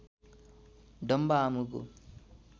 डम्बा आमुको